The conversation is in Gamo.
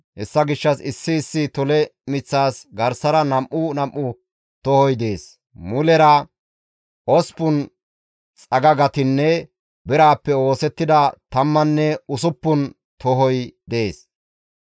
Hessa gishshas issi issi tole miththas garsara nam7u nam7u tohoti deettes; mulera osppun xagagatinne birappe oosettida tammanne usuppun tohoti deettes.